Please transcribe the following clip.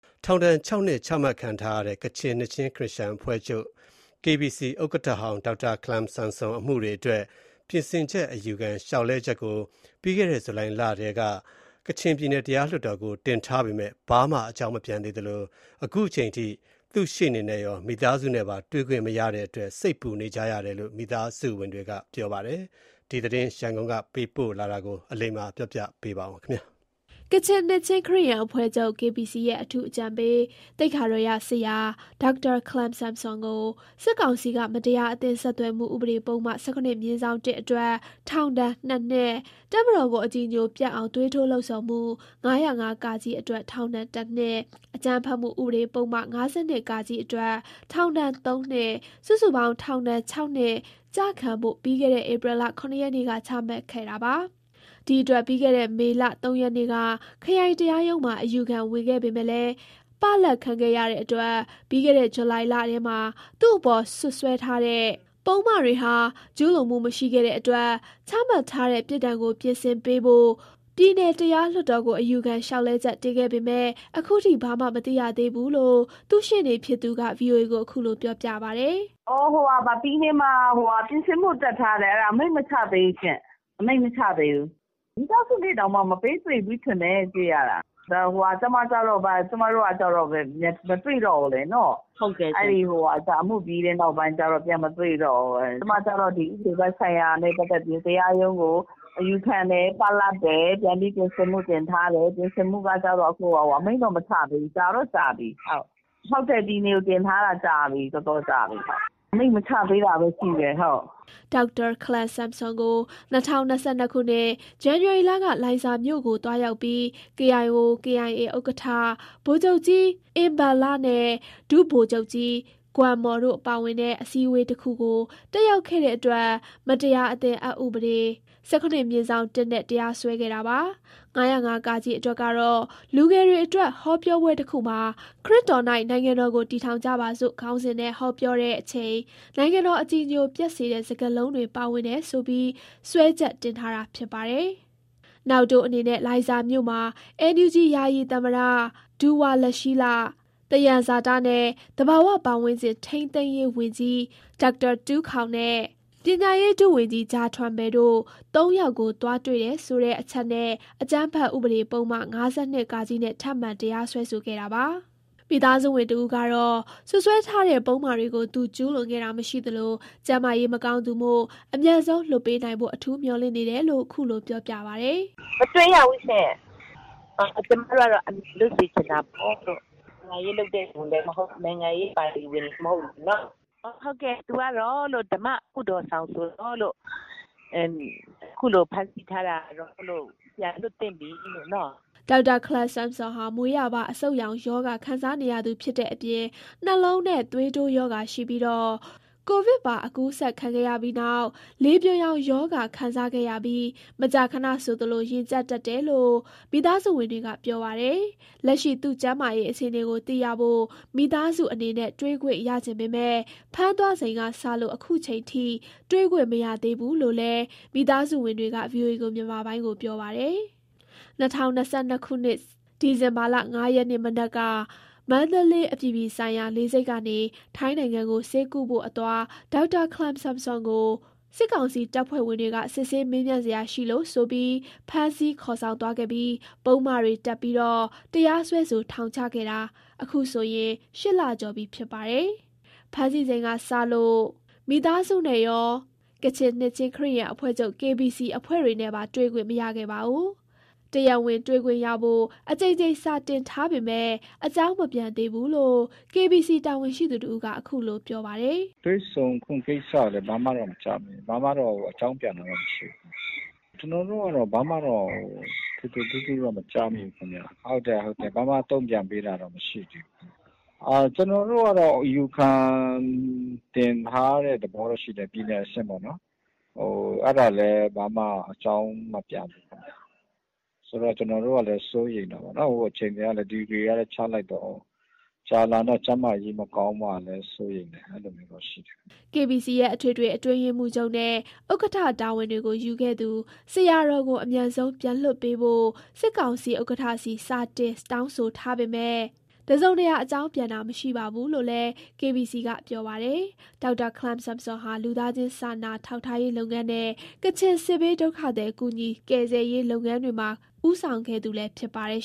ထောင်ဒဏ် ၆ နှစ် ချမှတ်ခံထား ရတဲ့ ကချင်နှစ်ခြင်းခရစ်ယာန်အဖွဲ့ချုပ် KBC ဥက္ကဋ္ဌဟောင်း ဒေါက်တာခလမ်ဆမ်ဆွန် အမှုတွေအတွက် ပြင်ဆင်ချက်အယူခံ လျှောက်လဲချက်ကို ပြီးခဲ့တဲ့ ဇူလိုင်လထဲက ကချင်ပြည်နယ် တရားလွှတ်တော်ကို တင်ထားပေမယ့် ဘာမှ အကြောင်းမပြန်သေးသလို ခုချိန်ထိ သူ့ရှေ့နေနဲ့ရော မိသားစုနဲ့ပါ တွေ့ခွင့်မရတဲ့ အတွက် စိတ်ပူနေတယ်လို့ မိသားစုဝင်တွေက ပြောပါတယ်။ ဒီသတင်းရန်ကုန်က ပေးပို့လာတာကို ကိုရန်နိုင် တင်ပြပေးပါမယ်။ ကချင်နှစ်ခြင်းခရစ်ယာန်အဖွဲ့ချုပ် KBC ရဲ့ အထူးအကြံပေး သိက္ခာတော်ရဆရာ ဒေါက်တာ ခလမ် ဆမ်ဆွမ်ကို စစ်ကောင်စီက မတရားအသင်း ဆက်သွယ်မှု ဥပဒေပုဒ်မ ၁၇/၁ အတွက် ထောင်ဒဏ် ၂ နှစ်၊ တပ်မတော်ကို အကြည်ညိုပျက်အောင် သွေးထိုးလှုံဆော်မှု ၅၀၅ အတွက် ထောင်ဒဏ် ၁ နှစ်၊ အကြမ်းဖက်မှု ဥပဒေပုဒ်မ ၅၂ အတွက် ထောင်ဒဏ် ၃ နှစ် စုစုပေါင်း ထောင်ဒဏ် ၆ နှစ် ကျခံဖို့ ပြီးခဲ့တဲ့ ဧပြီ ၇ ရက်နေ့က ချမှတ်ခဲ့တာပါ။ ဒီအတွက် ပြီးခဲ့တဲ့ မေလ ၃ ရက်နေ့က ခရိုင်တရားရုံးမှာ အယူခံဝင်ခဲ့ပေမဲ့ ပလပ်ခံခဲ့ရတဲ့အတွက် ပြီးခဲ့တဲ့ ဇူလိုင်လထဲမှာ သူ့အပေါ် စွပ်စွဲထားတဲ့ပုဒ်မတွေဟာ ကျူးလွန်မှုမရှိခဲ့တဲ့အတွက် ချမှတ်ထားတဲ့ပြစ်ဒဏ်ကို ပြင်ဆင်ပေးဖို့ ပြည်နယ်တရား လွှတ်တော်ကို အယူခံ လျှောက်လဲချက် တင်ခဲ့ပေမဲ့ အခုထိ ဘာမှ မသိရသေးဘူးလို့ သူ့ရှေ့နေဖြစ်သူက ဗွီအိုအေကို ခုလို ပြောပြပါတယ်။ "ပြည်နယ်မှာပြင်ဆင်မှု တပ်တက်ထားတယ် ခုထိ အမိန့်မချသေးဘူးရှင့်။ အမိန့်မချသေးဘူး။ မိသားစုနဲ့ တောင်ခုထိ ပေးမတွေ့ဘူး။ ကျမတို့ကျတော့လည်း မပေးတွေ့ဘူး။ အမှုပြီး ကတည်းက ပြန်မတွေ့တော့ဘူး။ ကျမကျတော့ ဥပဒေပိုင်းဆိုင်ရာနဲ့ တရားရုံးကို အယူခံတယ်။ ပလပ်တယ်။ ပြန်အယူခံပြင်ဆင်ချက် တပ်ထားတယ်။ ခုတော့ အမိန့်မချသေးဘူး။ ပြည်နယ်ကို တင်ထားတာတော်တော်ကြာပြီ။ ခုထိ အမိန့်မချသေးတာဘဲ ရှိတယ်။" ဒေါက်တာ ခလမ်ဆမ်ဆွန်ကို ၂၀၂၂ ခုနှစ် ဇန်နဝါရီလက လိုင်ဇာမြို့ကို သွားရောက်ပြီး KIO/KIA ဥက္ကဋ္ဌ ဗိုလ်ချုပ်ကြီး အင်ဘန်လနဲ့ ဒုဗိုလ်ချုပ်ကြီး ဂွန်မော်တို့ပါဝင်တဲ့ အစည်းအဝေးတခုကို တက်ရောက်ခဲ့တဲ့အတွက် မတရားအသင်း အက်ဥပဒ ၁၇/၁ နဲ့တရားစွဲခဲ့တာပါ။ ၅၀၅ အတွက်ကတော့ လူငယ်တွေအတွက် ဟောပြောပွဲတခုမှာ “ခရစ်တော်၌ နိုင်ငံတော်ကို တည်ထောင်ကြပါစို့” ခေါင်းစဉ်နဲ့ ဟောပြောတဲ့ အချိန် နိုင်ငံတော် အကြည်ညိုပျက်စေတဲ့ စကားလုံးတွေ ပါဝင်တယ်ဆိုပြီး စွဲချက်တင်ထားတာ ဖြစ်ပါတယ်။ နောက်တိုးအနေနဲ့ လိုင်ဇာမြို့မှာ NUG ယာယီသမ္မတ ဒူဝါလရှီးလ၊ သယံဇာတနဲ့ သဘာဝပတ်ဝန်းကျင် ထိန်းသိမ်းရေးဝန်ကြီး ဒေါက်တာ တူးခေါင်နဲ့ ပညာရေး ဒုဝန်ကြီး ဂျာထွယ်ပန်တို့ ၃ ယောက်ကို သွားတွေ့တယ်ဆိုတဲ့ အချက်နဲ့ အကြမ်းဖက်ဥပေဒပုဒ်မ ၅၂ နဲ့ ထပ်မံ တရားစွဲဆိုခဲ့တာပါ။ မိသားစုဝင် တဦးကတော့ စွပ်စွဲထားတဲ့ပုဒ်မတွေကို သူ ကျူးလွန်ခဲ့တာမရှိသလို ကျန်းမာရေးမကောင်းသူမို့ အမြန်ဆုံးလွှတ်ပေးနိုင်ဖို့ အထူးမျှော်လင့်နေတယ်လို့ ခုလိုပြောပါတယ်။ "ခုထိမတွေ့ရသေးဘူးရှင့်။ ကျမတို့ကတော့အမြန်ဆုံးလွတ်စေချင်တာပေါ့။ နိုင်ငံရေးလုပ်သူလဲ မဟုတ် နိုင်ငံရေးပါတီဝင်လဲမဟုတ်လေနော့်။ သူကဓမ္မကုသိုလ်ဆောင်ဆိုတော့ ခုလိုဖမ်းဆီးထားတာ ပြန်လွှတ်ပေးသင့်ပြီလို့ " ဒေါက်တာ ခလမ်ဆမ်ဆွန်ဟာ မွေးရာပါအဆုတ်ရောင်ရောဂါ ခံစားနေရသူဖြစ်တဲ့ အပြင် နှလုံးနဲ့သွေးတိုး ရောဂါရှိြ့ပီး ကိုဗစ်ပါ အကူးစက်ခံခဲ့ရပြီးနောက် လေပြွန်ယောင်ရောဂါ ခံစားခဲ့ရပြီး မကြာခဏဆိုသလို ရင်ကြပ်တတ်တယ်လို့ မိသားစုဝင်တွေက ပြောပါတယ်။ လက်ရှိ သူ့ကျန်းမာရေးအခြေအနေကို သိရဖို့ မိသားစုအနေနဲ့ တွေ့ခွင့်ရချင်ပေမဲ့ ဖမ်းသွားချိန်ကစလို့ ခုချိန်ထိ တွေ့ခွင့်မရသေးဘူးလို့ လည်း မိသားစုဝင်တွေက ဗွီအိုအေကို ပြောပါတယ်။ ၂၀၂၂ ဒီဇင်ဘာ ၅ ရက်နေ့ မနက်က မန္တလေး အပြည်ပြည်ဆိုင်ရာ လေဆိပ်ကနေ ထိုင်းနိုင်ငံကို ဆေးကုဖို့အသွား ဒေါက်တာ ခလမ်ဆမ်ဆွမ်ကို စစ်ကောင်စီ တပ်ဖွဲ့ဝင်တွေက စစ်ဆေး မေးမြန်းစရာ ရှိလို့ဆိုပြီး ဖမ်းဆီး ခေါ်ဆောင်သွားခဲ့ပြီး ပုဒ်မတွေတပ်ကာတရားစွဲဆိုထောင်ချခဲ့တာ အခုဆို ၈လကျော် ပြီဖြစ်ပါတယ်။ ဖမ်းဆီးချိန်ကနေစလို့ မိသားစုနဲ့ကော ကချင်နှစ်ခြင်းခရစ်ယာန်အဖွဲ့ချုပ် KBC အဖွဲ့တွေနဲ့ပါ တွေ့ခွင့်မရခဲ့ပါဘူး။ တရားဝင်တွေ့ခွင့်ရဖို့ အကြိမ်ကြိမ်စာတင်ထားပေမယ့် အကြောင်းမပြန်သေးဘူးလို့ KBC တာဝန်ရှိသူတဦးက အခုလိုပြောပါတယ်။ "တွေ့ဆုံခွင့်ကိစ္စကဘာမှတော့မကြားမိဘူး။ ဘာမှအကြောင်းပြန်တာမရှိသေးဘူး။ ဘာမှထွေထွေ ထူးထူးကျနော်တို့မကြားမိဘူး။ ဘာမှတုံ့ပြန်ပေးတာမရှိသေးဘူး။ ကျနော်တို့ အယူခံတင်ထားတဲ့ သဘောရှိတယ် ပြည်နယ်အဆင့်ပေါ့။ အဲဒါလည်းဘာမှအကြောင်းမပြန်ဘူး။ ဆိုတော့ကျနော်တို့စိတ်ပူတာပေါ့။ ထောင်တွေလည်းချလိုက်တော့ ကြာလာရင် ကျန်းမာရေး ထိခိုက်လာမှာကျနော်တို့စိတ်ပူတယ်။" KBC ရဲ့ အထွေထွေအတွင်းရေးမှုးချုပ်နဲ့ ဥက္ကဋ္ဌ တာဝန်တွေကို ယူခဲ့သူ ဆရာတော်ကို အမြန်ဆုံး ပြန်လွတ်ပေးဖို့ စစ်ကောင်စီ ဥက္ကဋ္ဌဆီ စာတင်တောင်းဆိုထားပေမဲ့ တစုံတရာ အကြောင်းပြန်တာမရှိပါဘူးလို့လည်း KBC က ပြောပါတယ်။ ဒေါက်တာခလမ်ဆမ်ဆွန်ဟာ လူသားချင်းစာနာထောက်ထားရေးလုပ်ငန်းနဲ့ ကချင်စစ်ဘေး ဒုက္ခသည် ကူညီကယ်ဆယ်ရေးလုပ်ငန်းတွေမှာ ဦးဆောင်ခဲ့သူလည်း ဖြစ်ပါတယ်